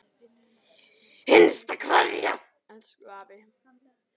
HINSTA KVEÐJA Elsku afi.